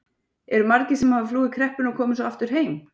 Eru margir sem hafa flúið kreppuna og komið svo aftur heim?